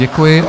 Děkuji.